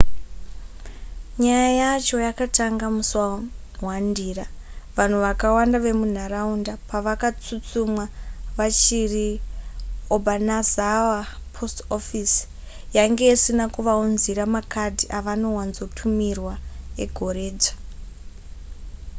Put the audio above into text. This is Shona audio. nyaya yacho yakatanga musi wa1 ndira vanhu vakawanda vemunharaunda pavakatsutsumwa vachiri obanazawa post office yainge isina kuvaunzira makadhi avanowanzotumirwa egoredzva